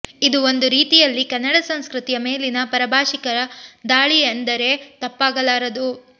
ಇದು ಒಂದು ರೀತಿಯಲ್ಲಿ ಕನ್ನಡ ಸಂಸ್ಕೃತಿಯ ಮೇಲಿನ ಪರಭಾಷಿಕರ ದಾಳಿ ಎಂದರೆ ತಪ್ಪಾಗಲಾರದು